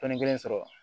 Tɔnden kelen sɔrɔ